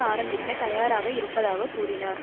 ஆரம்பிக்கத் தயாராக இருப்பதாக கூறினார்